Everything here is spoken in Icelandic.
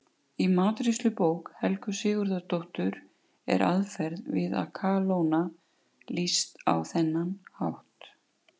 Í matreiðslubók Helgu Sigurðardóttur er aðferð við að kalóna lýst á þennan hátt: